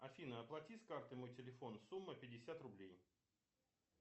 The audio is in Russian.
афина оплати с карты мой телефон сумма пятьдесят рублей